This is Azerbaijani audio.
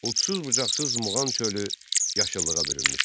Udsız-bucaqsız Muğan çölü yaşıllığa bürünmüşdü.